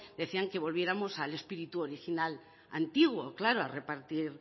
decían que volviéramos al espíritu original antiguo claro a repartir